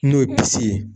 N'o ye ye